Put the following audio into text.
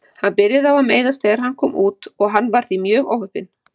Hann byrjaði á að meiðast þegar hann kom út og hann var því mjög óheppinn.